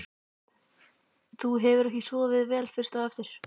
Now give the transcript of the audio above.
Þú hefur ekki sofið vel fyrst á eftir?